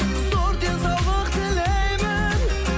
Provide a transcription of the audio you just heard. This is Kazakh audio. зор денсаулық тілеймін